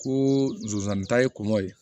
Ko zonzani ta ye kɔngo ye